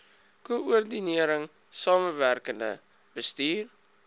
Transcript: koördinering samewerkende bestuur